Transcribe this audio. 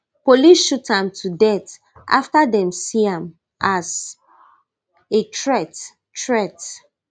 police shoot am to death afta dem see am as a threat threat